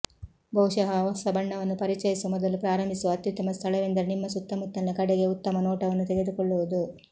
ಬಹುಶಃ ಹೊಸ ಬಣ್ಣವನ್ನು ಪರಿಚಯಿಸುವ ಮೊದಲು ಪ್ರಾರಂಭಿಸುವ ಅತ್ಯುತ್ತಮ ಸ್ಥಳವೆಂದರೆ ನಿಮ್ಮ ಸುತ್ತಮುತ್ತಲಿನ ಕಡೆಗೆ ಉತ್ತಮ ನೋಟವನ್ನು ತೆಗೆದುಕೊಳ್ಳುವುದು